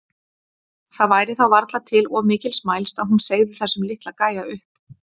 Það væri þá varla til of mikils mælst að hún segði þessum litla gæja upp.